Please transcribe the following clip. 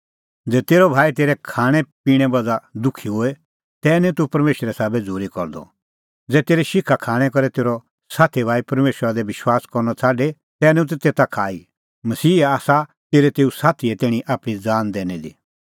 ज़ै तेरअ भाई तेरै खाणैं पिणें बज़्हा दुखी होए तै निं तूह परमेशरे साबै झ़ूरी करदअ ज़ै तेरै शिखा खाणैं करै तेरअ साथी भाई परमेशरा दी विश्वास करनअ छ़ाडे तै निं तूह तेता खाई मसीहा आसा तेरै तेऊ साथीए तैणीं आपणीं ज़ान दैनी दी